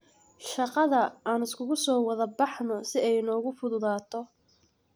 Shagadha aan iskukusowadhabaxno si ay nogufudhudhato.